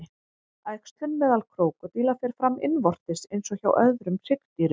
Æxlun meðal krókódíla fer fram innvortis eins og hjá öðrum hryggdýrum.